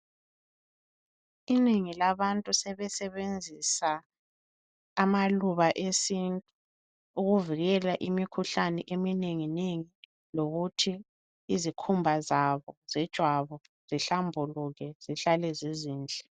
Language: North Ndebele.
Inengi labantu sebesebenzisa amaluba esintu ukuvikela imikhuhlane eminengi nengi lokuthi izikhumba zabo zejwabu zihlambuluke zihlale zizinhle